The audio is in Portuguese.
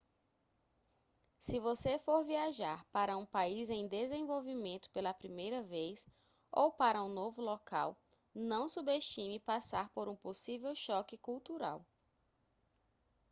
se você for viajar para um país em desenvolvimento pela primeira vez ou para um novo local não subestime passar por um possível choque cultural